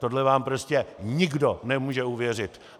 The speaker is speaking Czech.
Tohle vám prostě nikdo nemůže uvěřit.